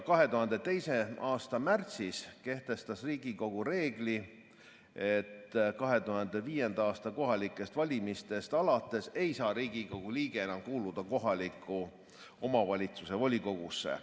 2002. aasta märtsis kehtestas Riigikogu reegli, et 2005. aasta kohalikest valimistest alates ei saa Riigikogu liige enam kuuluda kohaliku omavalitsuse volikogusse.